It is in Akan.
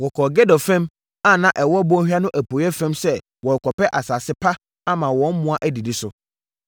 Wɔkɔɔ Gedor fam a na ɛwɔ bɔnhwa no apueeɛ fam sɛ wɔrekɔpɛ asase pa ama wɔn mmoa adidi so.